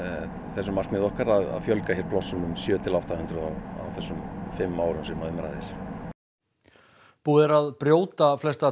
þessu markmiði okkar að fjölga hér plássum um sjö til átta hundruð á þessum fimm árum sem um ræðir búið er að brjóta flesta